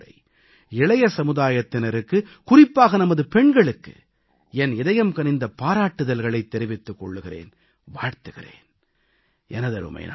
நான் மீண்டும் ஒருமுறை இளைய சமுதாயத்தினருக்கு குறிப்பாக நமது பெண்களுக்கு என் இதயம்கனிந்த பாராட்டுதல்களைத் தெரிவித்துக் கொள்கிறேன் வாழ்த்துகிறேன்